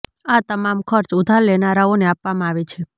આ તમામ ખર્ચ ઉધાર લેનારાઓને આપવામાં આવે છે